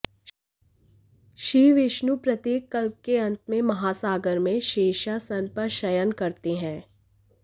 श्रीविष्णु प्रत्येक कल्प के अंत में महासागर में शेषासन पर शयन करते हैं